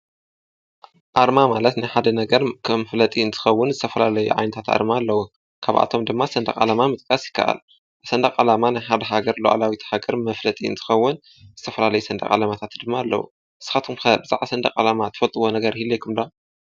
ኣርማ ማለት ናይ ሓደ ነገር ከም መፍለጢ እንትኸዉን ከም ዝተፈላለዩ ዓይነታት ኣርማ ኣለዉ። ካብኣቶም ድማ ሰንደቅ ዓላማ ምጥቃስ ይካኣል፡፡ ሰንደቅ ዓላማ ናይ ሓደ ሃገር ሓደ ልኣላዊነት መፍለጢ እንትኸውን ዝተፈላለዩ ሰንደቅ ዓላማታት ድማ ኣለዉ። ንስኻትኩም ኸ ብዛዕባ ሰንደቅ ዓላማ ትፈልጥዎ ነገር ይህልየኩም ዶ?